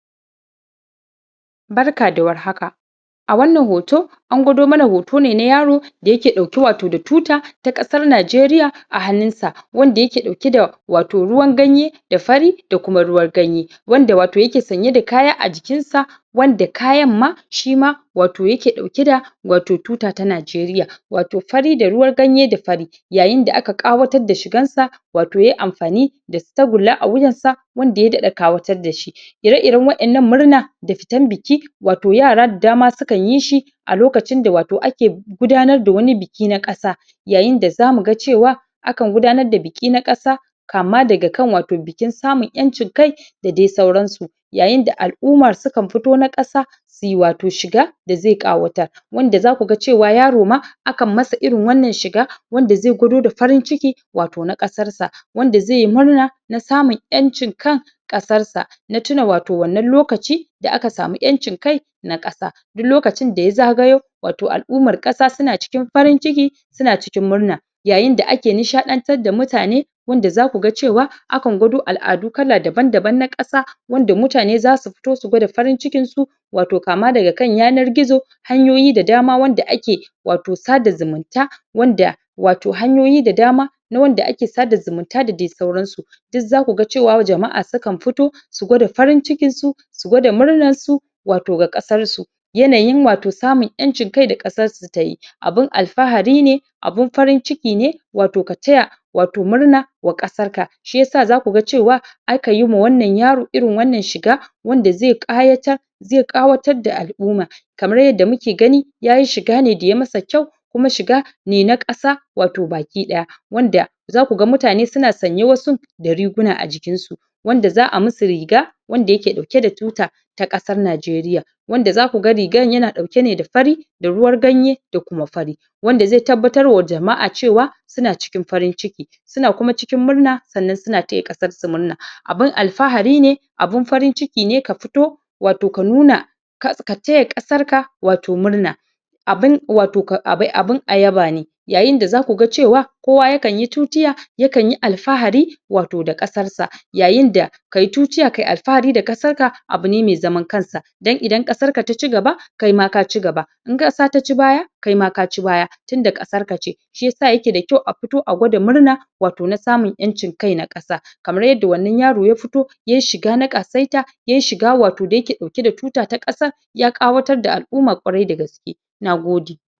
A cikin al'adar gargajiya bautawa sarauta da girmama Oba yana da matuƙar mahimmanci ko wace shekara akan gudanar da biki na miƙa gaisuwa zuwa ga Oba wanda ake kira da Igwe festival a wasu yankunan ko kuma Odun Oba a wasu wuraren wannan biki na musamman yana tattaro manyan sarakuna shugabanin al'umma da talakawa don su gabatar da girmamawa ga Oba a ranar da aka tsara biyan wannan gaisuwan ana shirya fada cikin kyau da ado na musamman masu fada suna sanya kaya masu kyau a basu ganga, ƙaho don sanar da zuwan manyan baƙi dattawa da manyan shgabanni suna shigowa ɗakin taron ko wanne yana ɗauke da kyaututtuka domin gabatar wa A lokaci da za fara biyan gaisuwa mutane suna darƙusawa ko su kwanta ruf da ciki a gaban Oba suna fadin kalmomin girmamawa da yabo wasu na cewa "kabiyesi oko oban goho" don nuna daraja mata suna kaɗa hannu samari da ƴan mata suna rangaɗa rawa suna nuna farin ciki da girmamawa a yayin da wannan biki yake gudana ana gabatar da kyaututtuka kamar su rake, gishiri, zinariya, da wasu kayan marmari. Manyan masu mulki suna kawo kyaututtuka na musamman kamar jakunkuna da buhuhuna na hatsi, dabbobi kudi, don nuna biyayyar su ga Oba Bayan gaisuwa Oba yana yi wa jama'a addu'a da kuma fatan alheri. Yayin jawabinsa na musamman, yana tunatar da mutane muhimmancin zaman lafiya, son juna, da kuma nuna haɗin kai a cikin al'umma. Ana kuma gudanar da bukukuwan kamar su wasan gargajiya, kiɗa, rawa domin nuna farin ciki mai daraja Bikin gaisuwa ga Oba wata al'ada ce da ake kiyaye ta tun kaka da kakanni yana ƙara danƙon zumunci a tsakanin al'umma yana kuma tabbatar da cewa Oba na cigaba da samun girmamawa da biyayya daga mutanen sa Wannan biyayya yana nuna cewa sarauta yan da daraja kuma mutane suna girmama Oba a matsayin jagoran al'umma